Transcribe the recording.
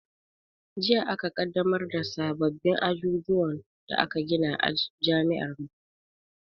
Jiya aka ƙaddamar da sababin ajujuwan da aka gina a jami'ar mu